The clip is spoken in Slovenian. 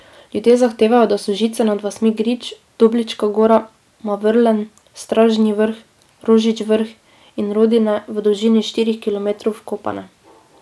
Ljudje zahtevajo, da so žice nad vasmi Grič, Doblička Gora, Mavrlen, Stražnji Vrh, Rožič Vrh in Rodine v dolžini štirih kilometrov vkopane.